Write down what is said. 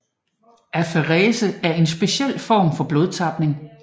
Aferese er en speciel form for blodtapning